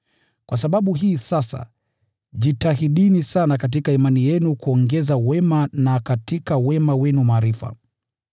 Kwa sababu hii hasa, jitahidini sana katika imani yenu kuongeza wema; na katika wema, maarifa;